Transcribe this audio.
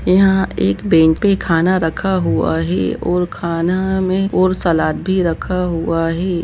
यहा एक बेंच पे खाना रखा हुआ है और खाना मे और सलाड भी रखा हुवा है।